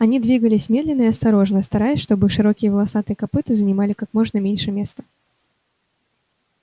они двигались медленно и осторожно стараясь чтобы их широкие волосатые копыта занимали как можно меньше места